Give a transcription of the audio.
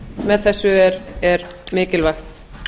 með þessu er mikilvægt